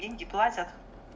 деньги платят